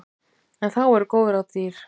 En þá eru góð ráð dýr.